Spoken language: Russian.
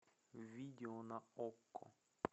видео на окко